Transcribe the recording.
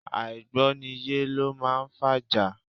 Àìgbọ́niyé lọ máa ń fa ìjà.